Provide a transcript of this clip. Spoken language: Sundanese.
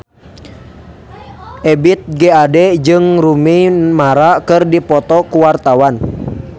Ebith G. Ade jeung Rooney Mara keur dipoto ku wartawan